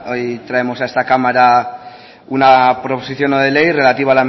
hoy traemos a esta cámara una proposición no de ley relativa